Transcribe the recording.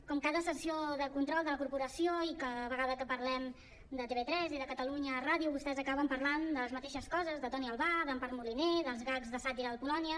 com cada sessió de control de la corporació i cada vegada que parlem de tv3 i de catalunya ràdio vostès acaben parlant de les mateixes coses de toni albà d’empar moliner dels gags de sàtira del polònia